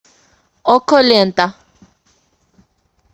окко лента